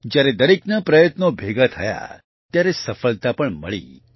જ્યારે દરેકના પ્રયત્નો ભેગા થયા ત્યારે સફળતા પણ મળી